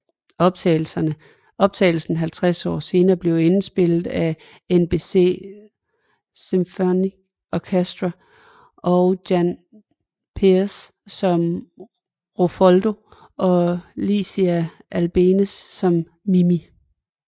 Optagelsen 50 år senere blev indspillet med NBC Symphony Orchestra og Jan Peerce som Rodolfo og Licia Albanese som Mimì